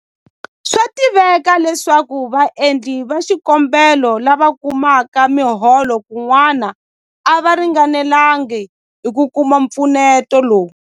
Swa tiveka leswaku vaendli va xikombelo lava kumaka miholo kun'wana a va ringanelanga hi ku kuma mpfuneto lowu.